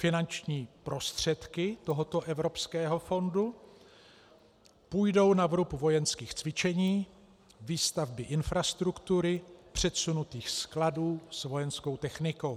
Finanční prostředky tohoto evropského fondu půjdou na vrub vojenských cvičení, výstavby infrastruktury, předsunutých skladů s vojenskou technikou.